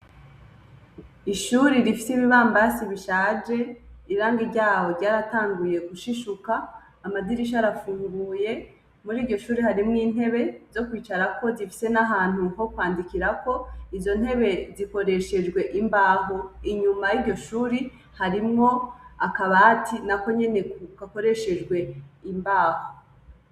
Ishuri rifise ibibambasi bishaje irangi ryaho ryaratanguye gushishuka amadirisha arafunguye, muriryo shure harimwo intebe zo kwicarako zifise n'ahantu ho kwandikirako, izo ntebe zikoreshejwe imbaho inyuma yiryo shure naho nyene hariho akabati nako nyene gakoreshejwe imbaho.